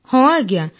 ହଁ ଆଜ୍ଞା